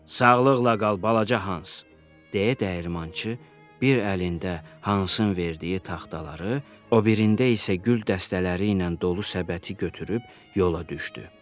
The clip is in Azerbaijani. Sağlıqla qal balaca Hans, deyə dəyirmançı bir əlində Hansın verdiyi taxtaları, o birində isə gül dəstələri ilə dolu səbəti götürüb yola düşdü.